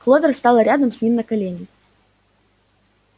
кловер стала рядом с ним на колени